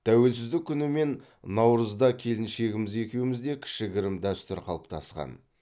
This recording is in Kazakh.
тәуелсіздік күні мен наурызда келіншегіміз екеумізде кішігірім дәстүр қалыптасқан